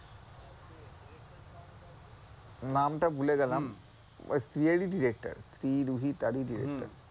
নাম টা ভুলে গেলাম, ঐ স্ত্রী এরই director স্ত্রী, রুহী তারই director